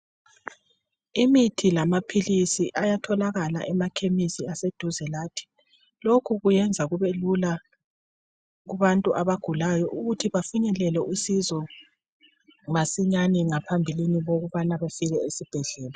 Imithi lamapills ayatholakala emakhemisi aseduze lathi lokhu kuyenza kubelula ukuthi abantu abagulayo befinyelele usizo masinyane ngaphambilini bokubana befike esibhedlela